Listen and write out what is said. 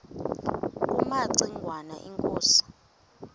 kumaci ngwana inkosi